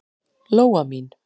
Lóa mín.